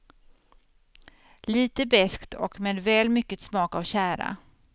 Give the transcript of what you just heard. Lite beskt och med väl mycket smak av tjära.